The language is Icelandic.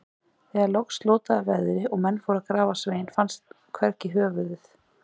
Þegar loks slotaði veðri og menn fóru til að grafa Svein, fannst hvergi höfuðið.